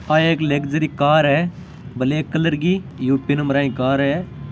आ एक luxury car है black colour की यू.पी. नम्बर की कार है।